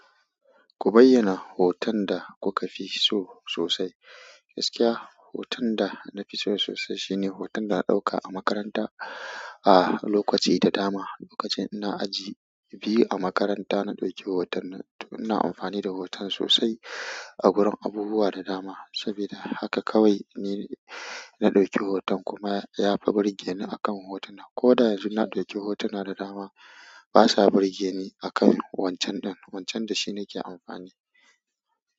Ku bayyana hoton da kuka fi so sosai. Gaskiya, hoton da na fi so sosai shine hoton da na ɗauka a makaranta a lokaci da dama lokacin ina aji biyu a makaranta na ɗauki hoton nan, ina amfani da hoton sosai a gurin abubuwa da dama. Sabida haka kawai ni na ɗauki hoton kuma ya fi burge ni akan hotuna. Ko da yanzu na ɗauki hotuna da dama, basa burge ni akan wancan ɗin, wancan da shi nake amfani.